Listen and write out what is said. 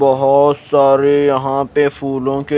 बहुत सारे यहां पे फूलों के--